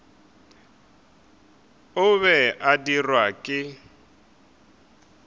o be a dirwa ke